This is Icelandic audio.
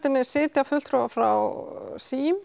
henni sitja fulltrúar frá